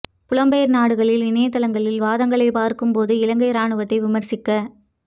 புலம்பெயர்ந்த நாடுகளில் இணைத்தளங்களின் வாதங்களைப் பார்க்கும் போது இலங்கை இராணுவத்தை விமர்சிக்க